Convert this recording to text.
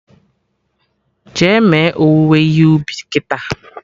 Jee me owuwe ihe ubi kịta!